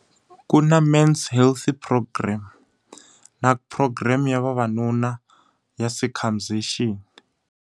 Ku na men's health program na program ya vavanuna ya circumcision.